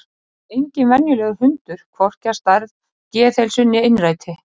Og það er enginn venjulegur hundur, hvorki að stærð, geðheilsu né innræti.